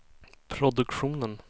produktionen